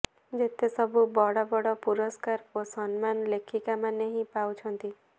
ଯେତେ ସବୁ ବଡ଼ ବଡ଼ ପୁରସ୍କାର ଓ ସମ୍ମାନ ଲେଖିକା ମାନେ ହିଁ ପାଉଛନ୍ତି